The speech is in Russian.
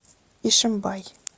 ишимбай